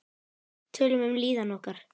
Tölum um líðan okkar.